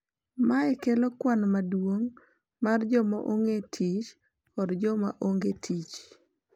Mae kelo kwan maduong’ mar joma ongee tich kod joma ongee tich,